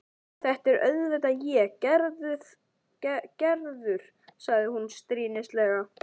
Þetta er auðvitað ég, Gerður, sagði hún stríðnislega.